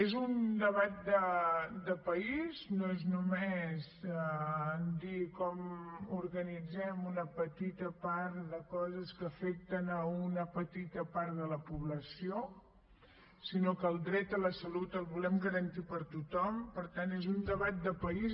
és un debat de país no és només dir com organitzem una petita part de coses que afecta una petita part de la població sinó que el dret a la salut el volem garantir per a tothom per tant és un debat de país